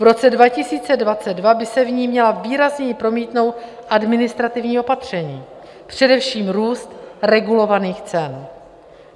V roce 2022 by se v ní měla výrazněji promítnout administrativní opatření, především růst regulovaných cen.